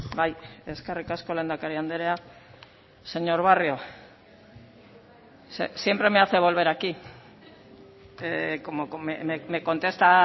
bai eskerrik asko lehendakari andrea señor barrio siempre me hace volver aquí como me contesta